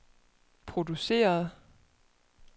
produceret